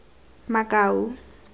makau